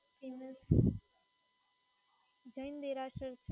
અમ જૈન દેરાસર છે.